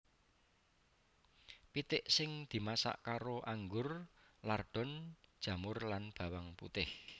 Pitik sing dimasak karo anggur lardon jamur lan bawang putih